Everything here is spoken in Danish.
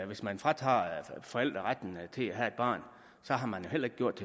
hvis man fratager forældrene retten til at have et barn har man jo heller ikke gjort